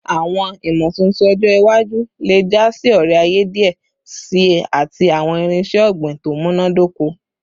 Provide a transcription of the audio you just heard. Awọn imotuntun ọjọ iwaju le ja si ore-aye diẹ sii ati awọn irinṣẹ ogbin to munadoko